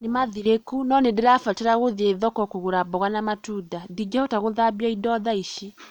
Nimathĩrũku, no nĩ ndĩrabatara gũthiĩ thoko kũgũra mboga na matunda. Ndingehota gũthambia indo thaa ici.